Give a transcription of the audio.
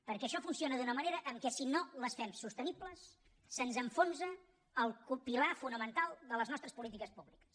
perquè això funciona d’una manera en què si no les fem sostenibles se’ns enfonsa el pilar fonamental de les nostres polítiques públiques